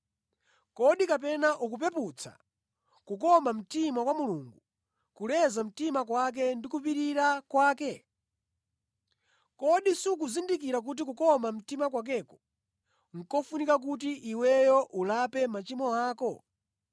Kodi kapena ukupeputsa kukoma mtima kwa Mulungu, kuleza mtima kwake ndi kupirira kwake? Kodi sukuzindikira kuti kukoma mtima kwakeko, nʼkofuna kuti iweyo ulape machimo ako?